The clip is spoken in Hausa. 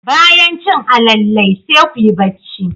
Bayan cin alalle, sai kuyi bacci.